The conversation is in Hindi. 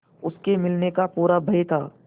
उसके मिलने का पूरा भय था